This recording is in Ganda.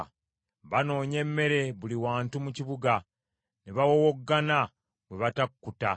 Banoonya emmere buli wantu mu kibuga, ne bawowoggana bwe batakkuta.